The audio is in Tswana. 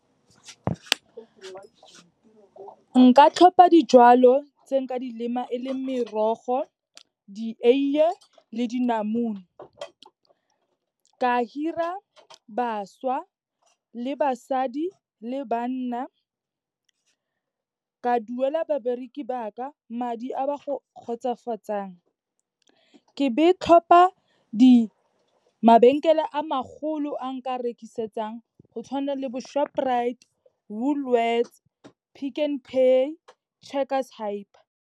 Nka tlhopha dijalo tse nka di lema, e le merogo, dieiye le dinamune. Ka hire-a bašwa, le basadi, le banna. Ka duela babereki ba ka madi a ba go kgotsofatsang. Ke be tlhopa mabenkele a magolo a nka rekisetsang go tshwana le bo Shoprite, Woolworths, Pick n Pay, Checkers Hyper.